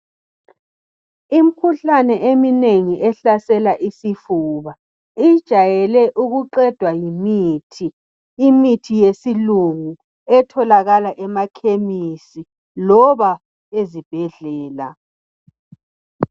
Imikhuhlane eminengi ehlasela isifuba ijwayele ukuqedwa yimithi. Ikhona imithi yesilungu etholakala ema khemisi loba ezibhedlela.